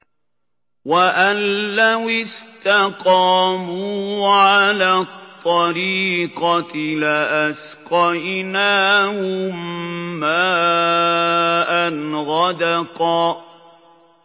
وَأَن لَّوِ اسْتَقَامُوا عَلَى الطَّرِيقَةِ لَأَسْقَيْنَاهُم مَّاءً غَدَقًا